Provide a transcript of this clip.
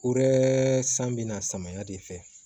U yɛrɛ san bɛ na samaya de fɛ